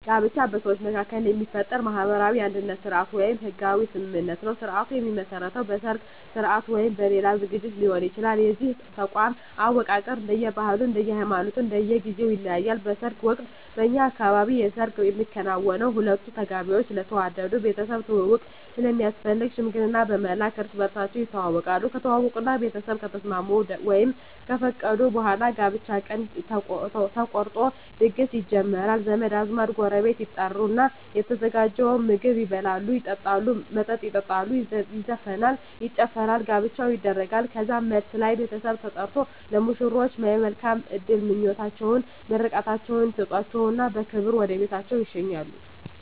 ጋብቻ በሰዎች መካከል የሚፈጠር ማህበራዊ የአንድነት ስርአት ወይም ህጋዊ ስምምነት ነዉ ስርአቱ የሚመሰረተዉ በሰርግ ስርአት ወይም በሌላ ዝግጅት ሊሆን ይችላል የዚህ ተቋም አወቃቀር እንደየ ባህሉ እንደየ ሃይማኖቱ እና እንደየ ጊዜዉ ይለያያል በሰርግ ወቅት በእኛ አካባቢ የሰርግ የሚከናወነዉ ሁለቱ ተጋቢዎች ስለተዋደዱ ቤተሰብ ትዉዉቅ ስለሚያስፈልግ ሽምግልና በመላክ እርስ በርሳቸዉ ይተዋወቃሉ ከተዋወቁእና ቤተሰብ ከተስማሙ ወይም ከፈቀዱ በኋላ የጋብቻ ቀን ተቆርጦ ድግስ ይጀመራል ዘመድ አዝማድ ጎረቤት ይጠሩና የተዘጋጀዉን ምግብ ይበላሉ መጠጥ ይጠጣሉ ይዘፈናል ይጨፈራል ጋብቻዉ ይደረጋል ከዛም መልስ ላይ ቤተሰብ ተጠርቆ ለሙሽሮች የመልካም እድል ምኞታቸዉን ምርቃታቸዉን ይሰጧቸዉና በክብር ወደ ቤታቸዉ ይሸኛሉ